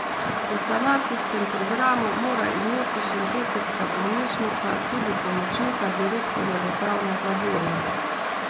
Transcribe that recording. Po sanacijskem programu mora imeti šempetrska bolnišnica tudi pomočnika direktorja za pravne zadeve.